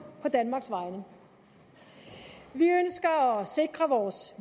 på danmarks vegne vi ønsker at sikre vores